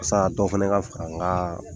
dɔ fana ka fara n ka